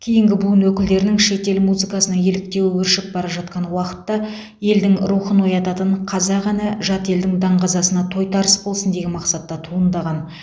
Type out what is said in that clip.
кейінгі буын өкілдерінің шетел музыкасына еліктеуі өршіп бара жатқан уақытта елдің рухын оятатын қазақ әні жат елдің даңғазасына тойтарыс болсын деген мақсатта туындаған